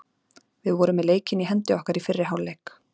Við vorum með leikinn í hendi okkar í fyrri hálfleik.